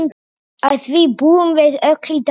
Að því búum við öll í dag.